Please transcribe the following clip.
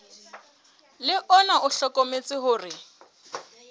le ona o hlokometse hore